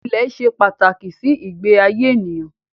Ilẹ̀ ṣe pàtàkì sí ìgbé ayé ènìyàn